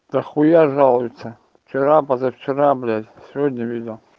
дохуя жалуется вчера позавчера блять сегодня видел